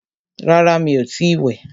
Rárá, mí o ti ì wẹ̀.